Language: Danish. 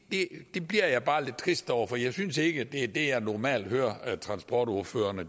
det bliver jeg bare lidt trist over for jeg synes ikke at det er det jeg normalt hører transportordførerne